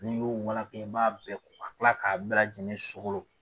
N'i y'o walaka i b'a ko ka tila k'a bɛɛ lajɛlen sokolo.